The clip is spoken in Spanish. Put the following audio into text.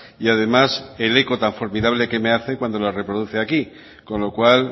y además el eco tan formidable que me hace cuando las reproduce aquí con lo cual